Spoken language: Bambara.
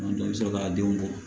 Dɔ i bɛ sɔrɔ ka denw bɔ